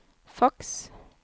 faks